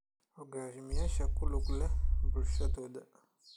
Hogaamiyayaasha ku lug leh bulshadooda.